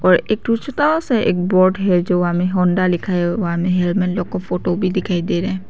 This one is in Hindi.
और एक ठो छोता सा एक बोर्ड है जो वहां मे होंडा लिखा है वहां में हेलमेट लोग का फोटो भी दिखाई दे रहे है।